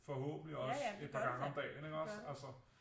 Ja ja det gør det da det gør det